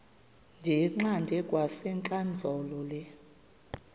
ndiyiqande kwasentlandlolo le